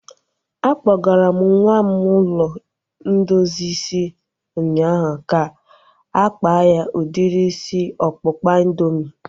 A kpọgara m nwa m ụlọ ndozi isi ụnyaahụ ka-akpa ya udiri isi ọkpụkpa indoomị